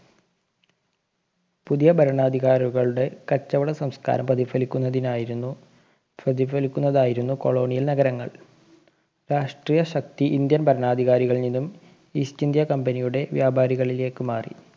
പുതിയ ഭരണാധികാരികളുടെ കച്ചവട സംസ്കാരം പ്രതിഫലിക്കുന്നതിനായിരുന്നു പ്രതിഫലിക്കുന്നതായിരുന്നു colonial നഗരങ്ങള്‍. രാഷ്ട്രീയ ശക്തി ഇന്ത്യന്‍ ഭരണാധികാരികളില്‍ നിന്നും east india company യുടെ വ്യാപാരികളിലേക്ക് മാറി.